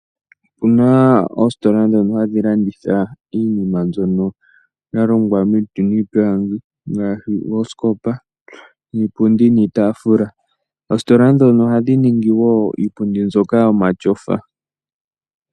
Opu na oositola ndhono hadhi landitha iinima ya longwa miiti niipilangi ngaashi oosikopa, iipundi niitaafula. Oositola ndhono ohadhi ningi woo iipundi yomatyofa.